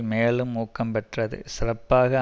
மேலும் ஊக்கம் பெற்றது சிறப்பாக